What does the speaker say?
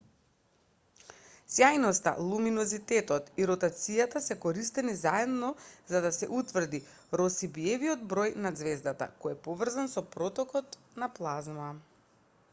сјајноста луминозитетот и ротацијата се користени заедно за да се утврди росбиевиот број на ѕвездата кој е поврзан со протокот на плазма